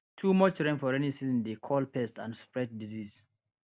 too much rain for rainy season dey call pest and spread disease